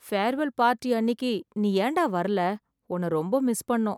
Farewell party அன்னிக்கு நீ ஏண்டா வரல... உன்ன ரொம்ப மிஸ் பண்ணோம்.